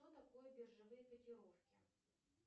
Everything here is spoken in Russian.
что такое биржевые котировки